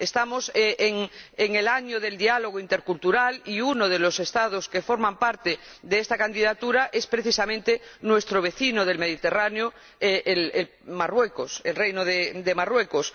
Estamos en el año del diálogo intercultural y uno de los Estados que forman parte de esta candidatura es, precisamente, nuestro vecino del Mediterráneo, el Reino de Marruecos.